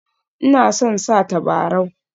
Ina son sa tabarau